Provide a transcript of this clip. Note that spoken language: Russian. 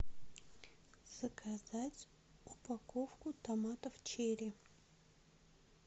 заказать упаковку томатов черри